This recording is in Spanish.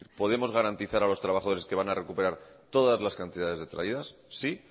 podemos garantizar a los trabajadores que van a recuperar todas las cantidades detraídas sí